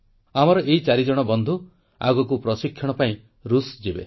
ଆମର ଏହି ଚାରିଜଣ ବନ୍ଧୁ ଆଗକୁ ପ୍ରଶିକ୍ଷଣ ପାଇଁ ଋଷ ଯିବେ